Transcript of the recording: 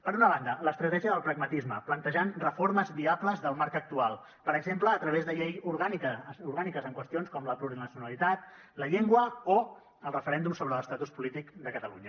per una banda l’estratègia del pragmatisme plantejant reformes viables del marc actual per exemple a través de lleis orgàniques en qüestions com la plurinacionalitat la llengua o el referèndum sobre l’estatus polític de catalunya